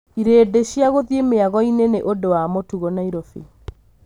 Irĩndĩ ciaguthiĩ mĩagoinĩ nĩ ũndũ wa mũtugo Nairobi.